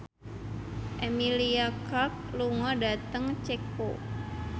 Emilia Clarke lunga dhateng Ceko